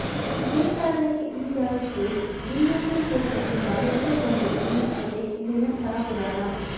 ಇದೇ ಕಾರಣಕ್ಕೆ ಈ ಜಾಗಕ್ಕೆ ವಿಲ್ಲುಂಡಿ ತೀರ್ಥ ಎಂಬ ಹೆಸರು ಬಂದಿದೆ ಎನ್ನುತ್ತದೆ ಇಲ್ಲಿನ ಸ್ಥಳಪುರಾಣ